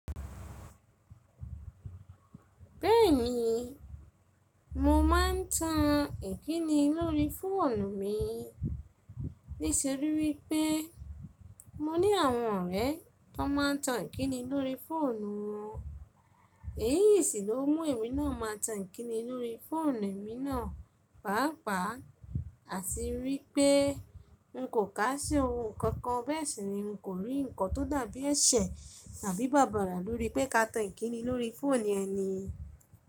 Bẹ́ẹ̀ni, mo ma n tan ìkíni lórí fóònù mi, nítorí pé mo ní àwọn ọ̀rẹ́ tó ma n tan ìkíni lórí fóònù wọn, èyí sì ló mú èmi náà má a tan ìkíni lórí fóònù èmi náà, pàápàá àti rí i pé n kò kà ṣe ohun kankan bẹ́ẹ̀ sì ni n kò rí nǹkan tó dàbí ẹ̀ṣẹ̀ tàbí bàbàrà lórí pé ká tan ìkíni lórí fóònù ẹni.